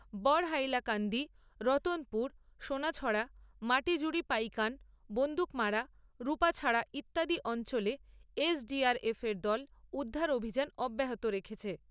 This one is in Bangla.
বড়হাইলাকান্দি, রতনপুর, সোনাছড়া, মাটিজুড়ি পাইকান, বন্দুকমারা, রূপাছড়া, ইত্যাদি অঞ্চলে এসডিআরএফ এর দল উদ্ধার অভিযান অব্যাহত রেখেছে।